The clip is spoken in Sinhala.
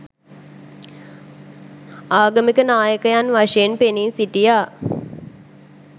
ආගමික නායකයන් වශයෙන් පෙනී සිටියා